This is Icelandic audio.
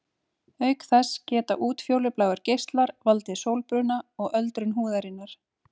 Auk þess geta útfjólubláir geislar valdið sólbruna og öldrun húðarinnar.